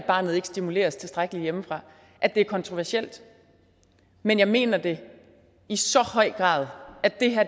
at barnet ikke stimuleres tilstrækkeligt hjemmefra er kontroversielt men jeg mener det i så høj grad